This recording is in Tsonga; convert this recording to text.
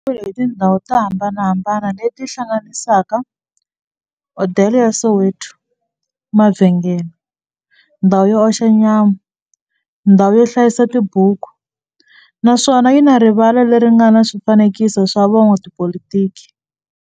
Xi rhendzeriwile hi tindhawu to hambanahambana le ti hlanganisaka, hodela ya Soweto, mavhengele, ndhawu yo oxa nyama, ndhawu yo hlayisa tibuku, naswona yi na rivala le ri nga na swifanekiso swa vo n'watipolitiki.